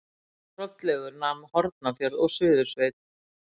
Hrollaugur nam Hornafjörð og Suðursveit.